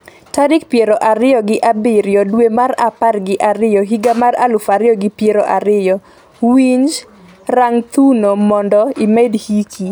tarik piero ariyo gi abiriyo dwe mar apar gi ariyo higa mar aluf ariyo gi piero ariyo. Winj, rang thuno omondo imed hiki